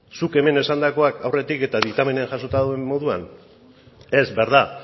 zuk hemen esandakoak aurretik eta diktamenean jasota dauden moduan ez verdad